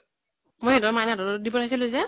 মই তহঁতৰ মাইনা হাতত দিব আহিছিলো যে ।